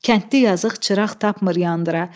Kəndli yazıq çıraq tapmır yandıra.